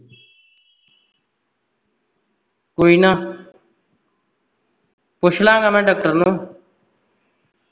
ਕੋਈ ਨਾ ਪੁੱਛ ਲਾ ਗਾ ਮੈਂ doctor ਨੂੰ